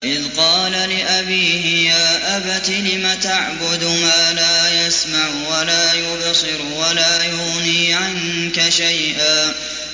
إِذْ قَالَ لِأَبِيهِ يَا أَبَتِ لِمَ تَعْبُدُ مَا لَا يَسْمَعُ وَلَا يُبْصِرُ وَلَا يُغْنِي عَنكَ شَيْئًا